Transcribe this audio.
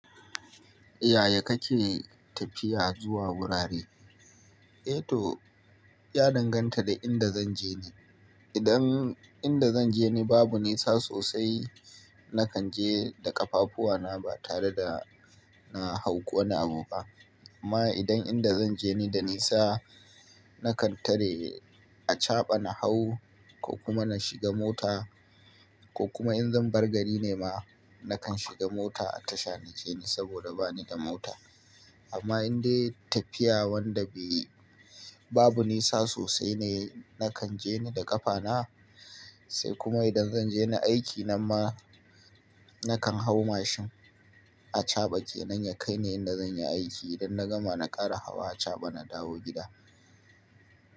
Yaya kake tafiya zuwa wurare? Eh to, ya danganta da inda zan je ne. Idan inda zan je ne babu nisa sosai, na kan je da ƙafafuwana ba tare da na hau wani abu ba. Amma idan inda zan je na da nisa, na kan tare a caɓa na hau ko kuma na shiga mota. Ko kuma in zan bar gari ne ma, na kan shiga mota a tasha na ke ne saboda bani da mota. Amma indai tafiya wanda be babu nisa sosai ne, na kan je ne da ƙafana. Sai kuma idan zan je na aiki nan ma, na kan hau mashin a caɓa kenan ya kai ni inda zanyi aiki. Idan na gama, na ƙara hawa a caɓa na dawo gida.